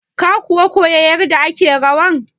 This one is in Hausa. Ka kuwa koya yarda ake rawan?